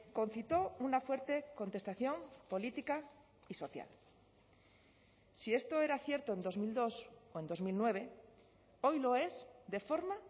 concitó una fuerte contestación política y social si esto era cierto en dos mil dos o en dos mil nueve hoy lo es de forma